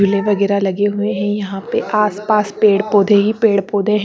कुले वगेरा लगे हुए है यहा आस पास पेड़ पोधे ही पेड़ पोधे है।